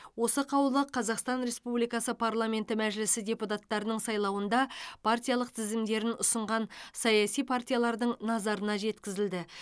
осы қаулы қазақстан республикасы парламенті мәжілісі депутаттарының сайлауында партиялық тізімдерін ұсынған саяси партиялардың назарына жеткізілді